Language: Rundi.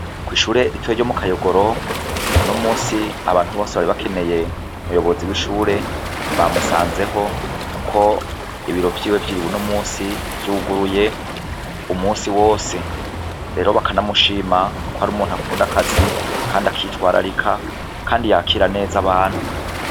Ko'ishure ritoye ryo mu akayogoro no musi abantu bose bari bakeneye umuyobozi w'ishure bamusanzeho, kuko ibiro vyiwe vyiriwe no musi vyuguruye umusi wose rero bakanamushima ko ari umuntu akunda akazi, kandi akitwa ararika, kandi yakira neza abantu.